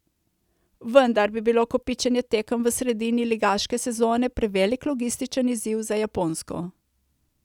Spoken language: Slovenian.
Vendar bi bilo kopičenje tekem v sredini ligaške sezone prevelik logističen izziv za Japonsko.